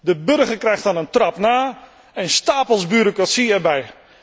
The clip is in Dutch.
De burger krijgt dan een trap na en stapels bureaucratie erbij.